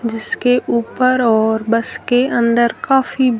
जिसके ऊपर और बस के अंदर काफी--